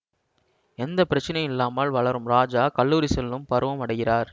எந்த பிரச்னையும் இல்லாமல் வளரும் ராஜா கல்லூரி செல்லும் பருவம் அடைகிறார்